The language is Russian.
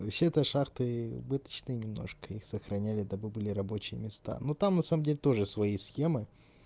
вообще-то шахты убыточные немножко их сохраняли да бы были рабочие места ну там на самом деле тоже свои схемы